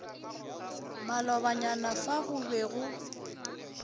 malobanyana fa go be go